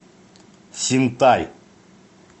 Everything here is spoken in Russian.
синтай